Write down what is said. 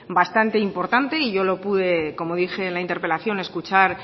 bastante importante y yo lo pude como dije en la interpelación escuchar